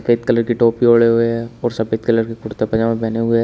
फेद colour की टोपी ओढ़े हुए है और सफेद कलर के कुर्ता-पजामा पहने हुए --